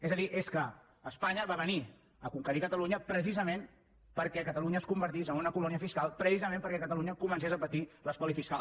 és a dir és que espanya va venir a conquerir catalunya precisament perquè catalunya es convertís en una colònia fiscal precisament perquè catalunya comencés a patir l’espoli fiscal